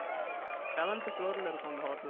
seventh floor ல இருக்கும் அந்த hotel